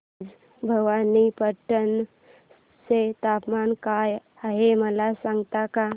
आज भवानीपटना चे तापमान काय आहे मला सांगता का